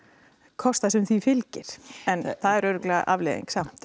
kosta sem því fylgir en það eru örugglega afleiðingar samt